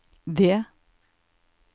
D